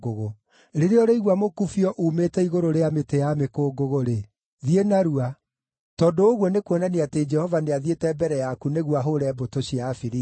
Rĩrĩa ũrĩigua mũkubio uumĩte igũrũ rĩa mĩtĩ ya mĩkũngũgũ-rĩ, thiĩ narua, tondũ ũguo nĩkuonania atĩ Jehova nĩathiĩte mbere yaku nĩguo ahũũre mbũtũ cia Afilisti.”